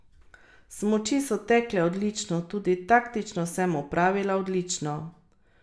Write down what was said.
Smuči so tekle odlično, tudi taktično sem opravila odlično.